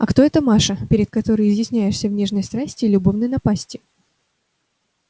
а кто эта маша перед которой изъясняешься в нежной страсти и любовной напасти